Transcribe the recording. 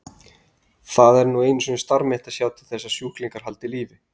Það er nú einu sinni starf mitt að sjá til þess að sjúklingarnir haldi lífi.